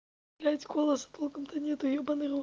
блять голоса толком то нету ёбаный в рот